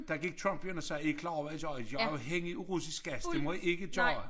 Der gik Trump jo ind og sagde er i klar over hvad i gør i gør jer afhængig af russisk gas det må i ikke gøre